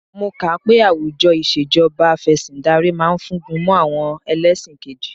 Mo kà á pé àwùjọ ìṣèjọba Afẹ̀sìndarí ma fúngun mọ́ àwọn ẹlẹ́ṣin kejì